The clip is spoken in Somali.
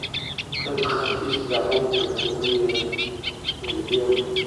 Dadka kaarkis dacunku waxay ookuyeran nyalidiema.